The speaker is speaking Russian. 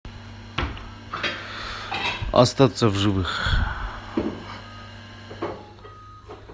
остаться в живых